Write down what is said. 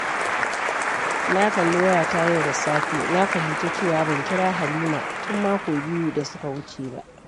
Na kalli wayata yau da safe, na fahimci cewa ban kira Halima tun mako biyu da suka wuce ba.